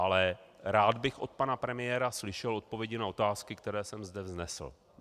Ale rád bych od pana premiéra slyšel odpovědi na otázky, které jsem zde vznesl.